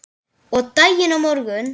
Og daginn á morgun.